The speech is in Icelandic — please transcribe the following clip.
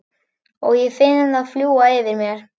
Og ég finn það fljúga yfir mér.